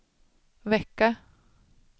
vecka